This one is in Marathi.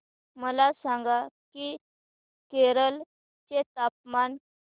मला सांगा की केरळ चे तापमान